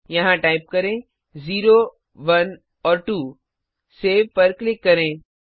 यहां टाइप करें 0 1 और 2 सेव पर क्लिक करें